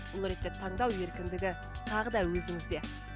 бұл ретте таңдау еркіндігі тағы да өзіңізде